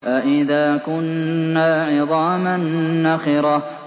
أَإِذَا كُنَّا عِظَامًا نَّخِرَةً